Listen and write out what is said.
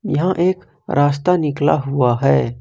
यहां एक रास्ता निकला हुआ है।